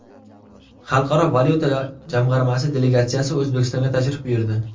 Xalqaro valyuta jamg‘armasi delegatsiyasi O‘zbekistonga tashrif buyurdi.